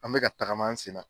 An bɛka ka tagama an sen na.